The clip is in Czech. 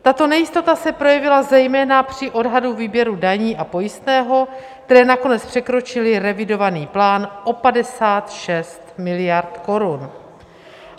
Tato nejistota se projevila zejména při odhadu výběru daní a pojistného, které nakonec překročily revidovaný plán o 56 miliard korun.